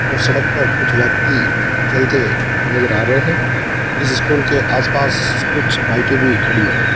ओ सड़क पर कुछ व्यक्ति चलते हुए नजर आ रहे हैं इस स्कूल के आस पास कुछ लाइटे भी खड़ी है।